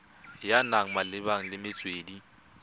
ya naga malebana le metswedi